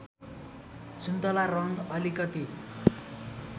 सुन्तला रङ्ग अलिकति